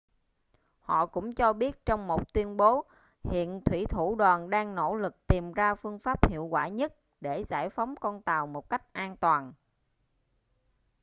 họ cũng cho biết trong một tuyên bố hiện thuỷ thủ đoàn đang nỗ lực tìm ra phương pháp hiệu quả nhất để giải phóng con tàu một cách an toàn